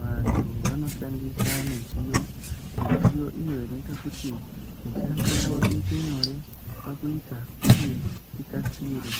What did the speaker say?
vantu vanoshandisa midziyo, midziyo iyo inoita kuti mishando yavo iite nyore pakuita uye ikasire.